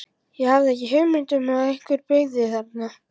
Ég hafði ekki hugmynd um að einhver byggi þarna.